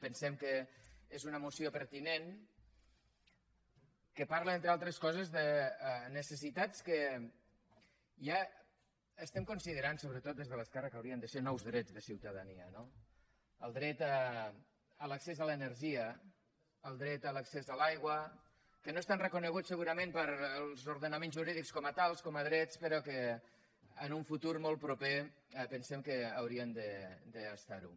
pensem que és una moció pertinent que parla entre altres coses de necessitats que ja estem considerant sobretot des de l’esquerra que haurien de ser nous drets de ciutadania no el dret a l’accés a l’energia el dret a l’accés a l’aigua que no estan reconeguts segurament pels ordenaments jurídics com a tals com a drets però que en un futur molt proper pensem que haurien d’estar ho